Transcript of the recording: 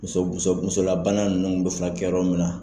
Muso muso musolabana ninnu bɛ furakɛ yɔrɔ min na.